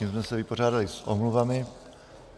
Tím jsme se vypořádali s omluvami.